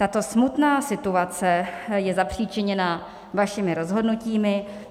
Tato smutná situace je zapřičiněna vašimi rozhodnutími.